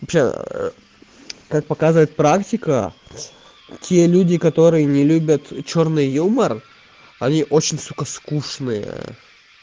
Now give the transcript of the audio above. вообще как показывает практика те люди которые не любят чёрный юмор они очень сука скучные